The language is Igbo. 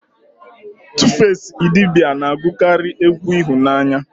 Tufasi idibia na-agụkarị egwu ịhụnanya